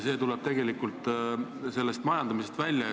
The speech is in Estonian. See tuleb tegelikult sellest majandamisest välja.